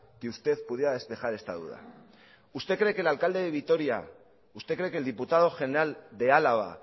que usted pudiera despejar esta duda usted cree que el alcalde de vitoria usted cree que el diputado general de álava